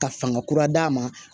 Ka fanga kura d'a ma